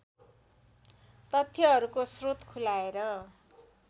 तथ्यहरूको स्रोत खुलाएर